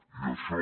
i això